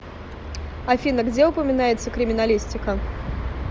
афина где упоминается криминалистика